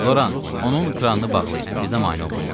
Loran, onun kranını bağlayın, bizə mane olmasın.